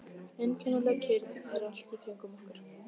Einkennileg kyrrð er allt í kringum okkur.